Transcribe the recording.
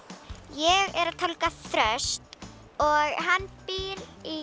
ég er að tálga þröst og hann býr í